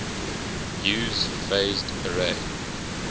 use phased array